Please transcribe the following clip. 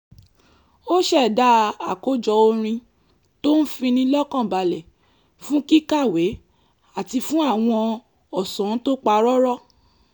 ó ṣẹ̀dá àkójọ orin tó ń fini lọ́kànbalẹ̀ fún kíkàwé àti fún àwọn ọ̀sán tó pa rọ́rọ́